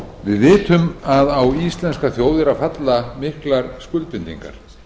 við vitum að að íslenska þjóð eru að falla miklar skuldbindingar